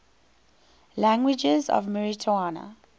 languages of mauritania